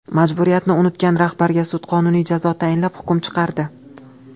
Majburiyatni unutgan rahbarga sud qonuniy jazo tayinlab hukm chiqardi.